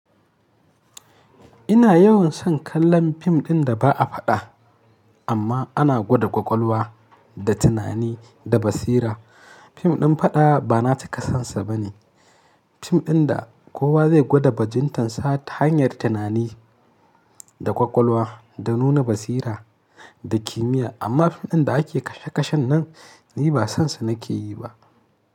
Ina yawan son kallon fim ɗin da ba a faɗa amma ana gwada ƙwaƙwalwa da tunani da basira. Fim ɗin faɗa ba na cika sonsa bane. Fim ɗin da kowa zai gwada bajintarsa ta hanyar tunani da ƙwaƙwalwa da nuna basira da kimiyya. Amma fim ɗin da ake kashe-kashen nan ni ba sonsa nake yi ba.